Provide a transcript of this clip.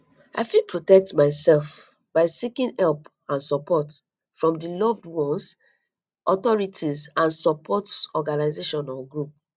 i fit protect myself by seeking for help and support from di loved ones authorities and support organizations or groups